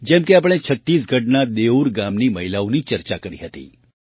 જેમ કે આપણે છત્તીસગઢના દેઉર ગામની મહિલાઓની ચર્ચા કરી હતી